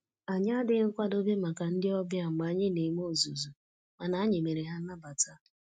Anyị adịghị nkwadobe maka ndị ọbịa mgbe anyị na eme ozuzu, mana anyị mere ha nnabata